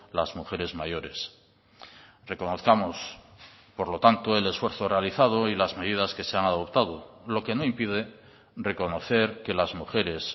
las mujeres mayores reconozcamos por lo tanto el esfuerzo realizado y las medidas que se han adoptado lo que no impide reconocer que las mujeres